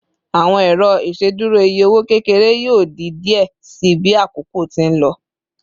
Awọn ero iṣeduro iye owo kekere yoo di diẹ sii bi akoko ti n lọ